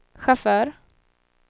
chaufför